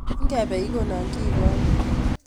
Ikebe ikonon kiekonye